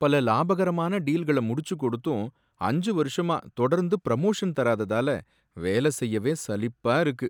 பல லாபகரமான டீல்கள முடிச்சு கொடுத்தும் அஞ்சு வருஷமா தொடர்ந்து பிரமோஷன் தராததால வேல செய்யவே சலிப்பா இருக்கு.